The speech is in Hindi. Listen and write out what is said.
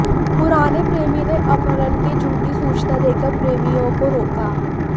पुराने प्रेमी ने अपहरण की झूठी सूचना देकर प्रेमियों को रोका